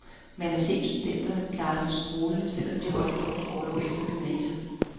Man har set studerende klare sig strålende, selv om de havde holdt et års orlov efter gymnasiet.